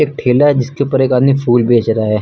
ठेला है जिसके ऊपर एक आदमी फुल बेच रहा है।